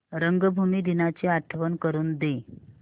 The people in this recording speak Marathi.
रंगभूमी दिनाची आठवण करून दे